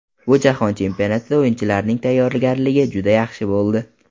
Bu jahon chempionatida o‘yinchilarning tayyorgarligi juda yaxshi bo‘ldi.